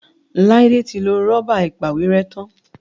Laide tí lọ Rọ́bà ìpàwérẹ́ tán.